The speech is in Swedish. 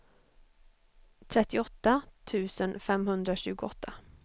trettioåtta tusen femhundratjugoåtta